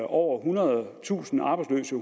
over ethundredetusind arbejdsløse